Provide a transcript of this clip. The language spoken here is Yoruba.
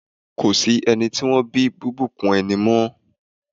Ko sí ẹni tí wọ́n bí bíbùnkún ẹni mọ́.